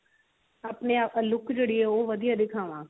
ਆਪਣੇ ਆਪ look ਜਿਹੜੀ ਹੈ ਉਹ ਵਧੀਆ ਦਿਖਾਵਾਂ